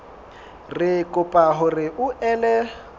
re kopa hore o ele